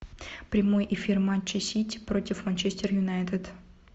прямой эфир матча сити против манчестер юнайтед